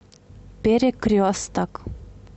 перекресток